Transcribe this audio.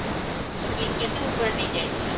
କିଂ କେତେ ଉପରେ ନେଇଯାଇଥିଲେ